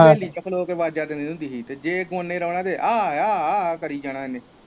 ਵੇਹਲੀ ਚ ਖਲੋ ਕ ਵਾਜਾਂ ਦਿੰਦੇ ਹੁੰਦੀ ਸੀ ਜ ਕਰੀ ਜਣਾ ਇਹਨੇ।